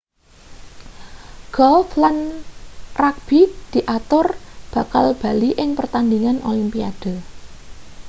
golf lan rugbi diatur bakal bali ing pertandingan olimpiade